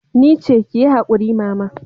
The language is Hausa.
Nice, kiyi hakuri mama.